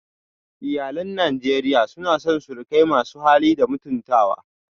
Iyalan Najeriya na son surukai masu hali da mutuntawa